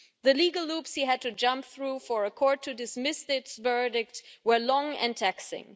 The legal hoops he had to jump through for a court to dismiss this verdict were long and taxing.